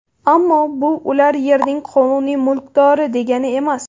Ammo bu ular yerning qonuniy mulkdori degani emas.